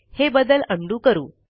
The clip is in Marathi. हे बदल उंडो करू